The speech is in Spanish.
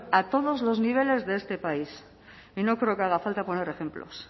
a todos los niveles de este país y no creo que haga falta poner ejemplos